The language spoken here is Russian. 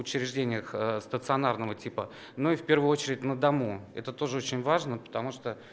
учреждениях стационарного типа но и в первую очередь на дому это тоже очень важно потому что